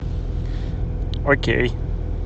окей